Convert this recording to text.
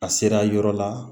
A sera yɔrɔ la